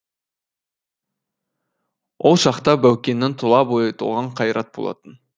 ол шақта баукеңнің тұла бойы толған қайрат болатын